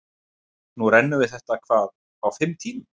Núna rennum við þetta hvað, á fimm tímum?